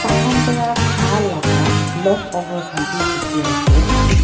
khan para kha laga left over khan bhi dekhi ase iss--